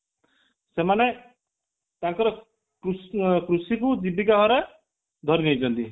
ସେମାନେ ତାଙ୍କର କୃ କୃଷିକୁ ଜୀବିକା ଭାବରେ ଧରିନେଇଛନ୍ତି